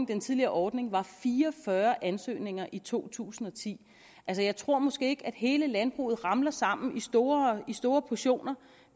den tidligere ordning var fire og fyrre ansøgninger i to tusind og ti altså jeg tror måske ikke at hele landbruget ramler sammen i store i store portioner